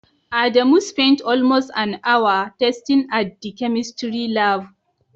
Adamu spent almost an hour testing at the chemistry lab.